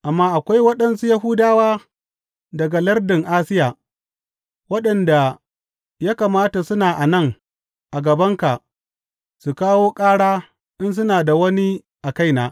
Amma akwai waɗansu Yahudawa daga lardin Asiya, waɗanda ya kamata suna a nan a gabanka su kawo ƙara in suna da wani a kaina.